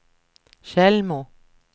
Tjällmo